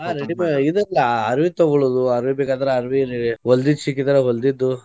ಆಹ್ ready made ಇದ್ ಅಲ್ಲಾ ಅರವಿ ತೊಗೊಳ್ಳೋದು ಅರಬಿಗಾದ್ರ ಅರವಿರಿ ಹೊಲ್ದಿದ್ ಸಿಕ್ಕಿದ್ರ ಹೊಲ್ದಿದ್ದು.